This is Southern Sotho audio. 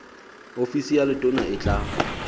ofisi ya letona e tla